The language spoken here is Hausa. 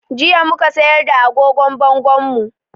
Jiya mu ka sayar da agogon bangonmu